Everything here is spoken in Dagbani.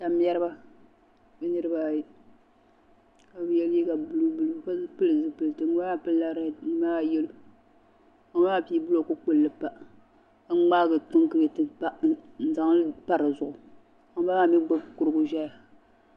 Tam mɛriba bɛ niribi ayi kabɛye liiga blue blue ka pili zi pilisi ŋun bala maa pilila read ŋun bala yelɔw ka ŋun bala maa pii blɔk kpulli pa ka mŋaagi kun kuriti pa n zaŋli pa dizuɣu ka ŋun ba la maa mi gbubi kurigu n. ʒɛya